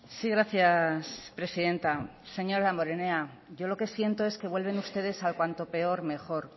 sí gracias presidenta señor damborenea yo lo que siento es que vuelven ustedes al cuanto peor mejor